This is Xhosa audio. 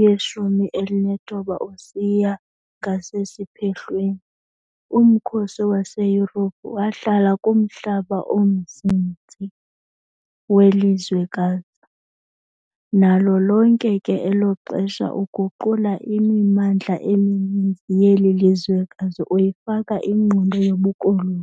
yeshumi elinethoba usiya ngasesiphehlweni, umkhosi waseYurophu wahlala kumhlaba omnzinzi welizwekazi, nalo lonke ke elo xesha uguqula imimandla emininzi yeli lizwekazi uyifaka ingqondo yobukoloni.